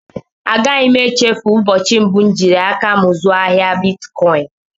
A gaghị m échéfu ụbọchị mbụ m jiri áká m zuo ahịa bịtkọin